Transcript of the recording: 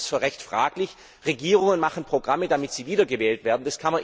Ich halte das für recht fraglich. Regierungen machen Programme, damit sie wiedergewählt werden.